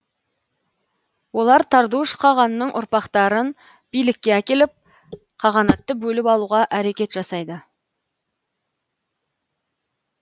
олар тардуш қағанның ұрпақтарын билікке әкеліп қағанатты бөліп алуға әрекет жасайды